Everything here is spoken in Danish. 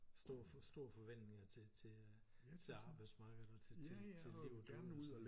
Stor store forventninger til til øh til arbejdsmarkedet og til til livet og